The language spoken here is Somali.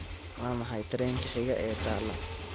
waa maxay tareenka xiga ee tala